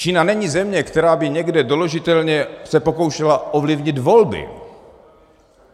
Čína není země, která by někde doložitelně se pokoušela ovlivnit volby.